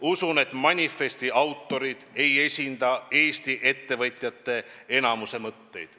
Usun, et manifesti autorid ei esinda Eesti ettevõtjate enamuse mõtteid.